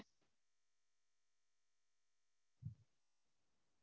உம் okay mam வேற எதுனாச்சும் இருக்கா mam உங்களுக்கு